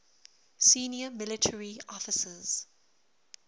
senior military officers